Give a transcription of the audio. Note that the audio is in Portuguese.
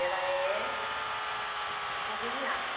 Ela é conveniada.